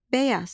Bəyaz.